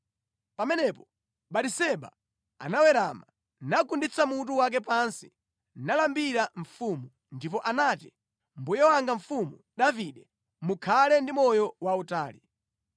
Pamenepo Batiseba anawerama, nagunditsa mutu wake pansi nalambira mfumu, ndipo anati, “Mbuye wanga Mfumu Davide mukhale ndi moyo wautali!”